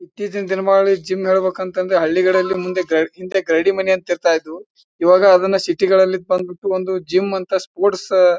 ಇತ್ತೀಚೆಗ್ ದಿನಬಾಳಿ ಜಿಮ್ ಹೋಗ್ಬೇಕೆಂದ್ರ ಹಳ್ಳಿಕಡೆಯಲ್ಲಿ ಮುಂದೆ ಹಿಂದೆ ಗರಡಿ ಮನೆ ಅಂತ ಇರ್ತಾಯಿದ್ವು. ಇವಾಗ ಅದನ್ನ ಸಿಟಿ ಗಳಲ್ಲಿ ಬಂದ್ಬಿಟ್ಟು ಒಂದು ಜಿಮ್ ಅಂತ ಸ್ಪೋರ್ಟ್ಸ್ --